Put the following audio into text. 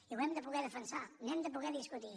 i ho hem de poder defensar n’hem de poder discutir